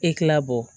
E tila bɔ